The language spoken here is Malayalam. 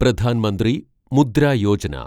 പ്രധാൻ മന്ത്രി മുദ്ര യോജന